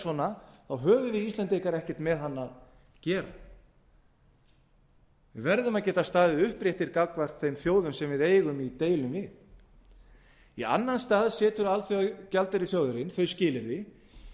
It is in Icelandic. svona þá höfum við íslendingar ekkert með hann að gera við verðum að geta staðið uppréttir gagnvart þeim bjóði sem við eigum í deilum við í annan stað setur alþjóðagjaldeyrissjóðurinn þau skilyrði að